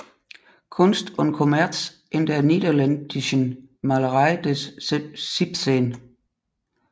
Kunst und Kommerz in der niederländischen Malerei des 17